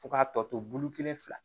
Fo k'a tɔ to bulu kelen fila